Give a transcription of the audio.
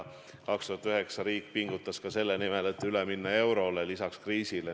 2009. aastal riik pingutas ka selle nimel, et lisaks kriisist ülesaamisele eurole üle minna.